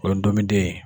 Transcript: O ye dumuniden ye